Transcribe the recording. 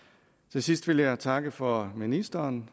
til sidst vil jeg takke for ministeren